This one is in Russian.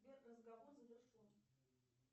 сбер разговор завершен